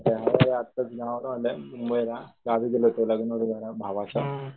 आताच गावावरुण आलोय मुंबईला गावी गेलो होतो लग्न होत जरा भावाचं